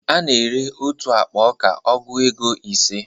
A na ere otu akpa ọka ọgụ égo ise